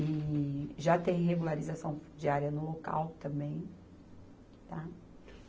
E já tem regularização diária no local também, tá